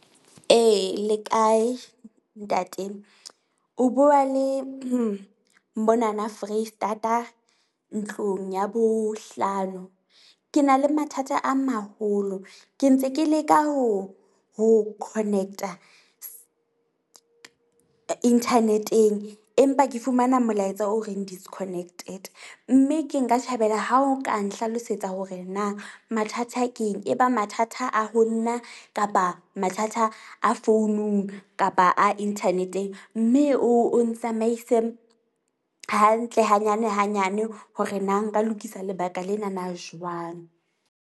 E, le kae ntate? O bua le mona na Freistata, ntlong ya bohlano. Ke na le mathata a maholo ke ntse ke leka ho ho connect-a internet-eng. Empa ke fumana molaetsa o reng disconnected, mme ke nka thabela ha o ka nhlalosetsa hore na mathata ke eng. E ba mathata a ho nna kapa mathata a founung kapa a internet-eng. Mme o ntsamaise hantle hanyane hanyane hore na nka lokisa lebaka lena na jwang.